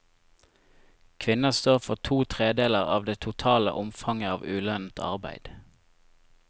Kvinner står for to tredjedeler av det totale omfanget av ulønnet arbeid.